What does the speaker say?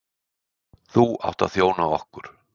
Þú átt að þjóna okkur.